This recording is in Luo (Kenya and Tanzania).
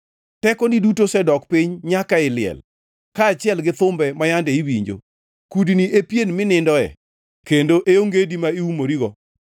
Tekoni duto osedok piny nyaka ei liel, kaachiel gi thumbe ma yande iwinjo; kudni e pieni minindoe kendo e ongedi ma iumorigo.